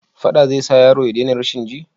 Faɗa zai sa yaro ya dena rashin ji?